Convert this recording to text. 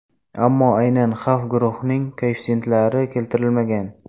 Ammo aynan xavf guruhlarining koeffitsentlari keltirilmagan.